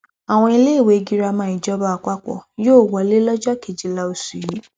àwọn iléèwé girama ìjọba àpapọ yóò wọlé lọjọ kejìlá oṣù yìí